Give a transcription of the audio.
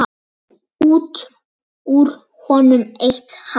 Út úr honum eitt hár.